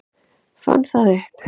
Fann það upp.